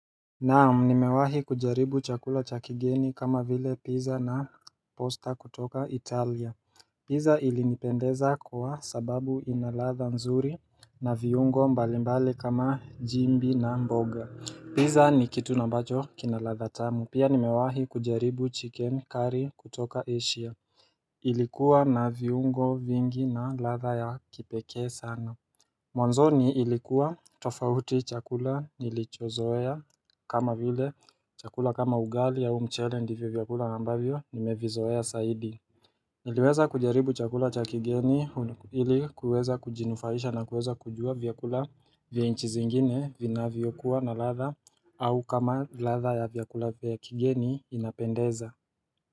Naam nimewahi kujaribu chakula cha kigeni kama vile pizza na posta kutoka italia Pizza ilinipendeza kwa sababu ina ladha nzuri na viungo mbalimbali kama jimbi na mboga. Pizza ni kitu ambacho kina ladha tamu. Pia nimewahi kujaribu chicken curry kutoka Asia Ilikuwa na viungo vingi na latha ya kipekee sana Mwanzoni ilikuwa tofauti chakula nilichozoea kama vile chakula kama ugali au mchele ndivyo vyakula ambavyo nimevizoea zaidi. Niliweza kujaribu chakula cha kigeni ili kuweza kujinufaisha na kuweza kujua vyakula vya nchi zingine vinavyokuwa na ladha au kama ladha ya vyakula vya kigeni inapendeza.